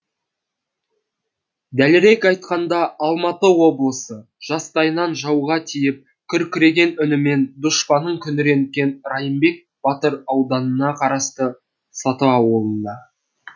дәлірек айтқанда алматы облысы жастайынан жауға тиіп күркіреген үнімен дұшпанын күңіренткен райымбек батыр ауданына қарасты саты ауылында